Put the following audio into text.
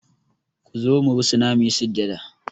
Ku zo mu rusuna mu yi sujada!